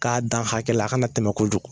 K'a dan hakɛla a kana tɛmɛ kojugu.